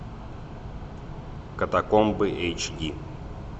катакомбы эйч ди